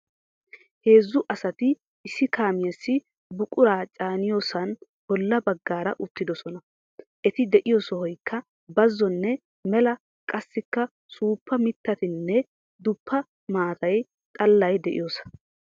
Heezzu asati issi kaamiyaasi buquraa caaniyoosan boolla baggaara uttidosona. Eti diyo sohoykka bazzonne mela qassikka suuppa mittatinne duppa maata xallay diyoosa.